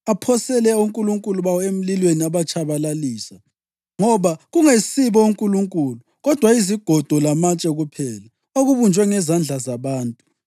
Aphosele onkulunkulu bawo emlilweni abatshabalalisa, ngoba kungesibo onkulunkulu kodwa yizigodo lamatshe kuphela, okubunjwe ngezandla zabantu.